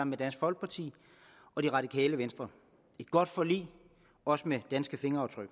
med dansk folkeparti og det radikale venstre et godt forlig og også med fingeraftryk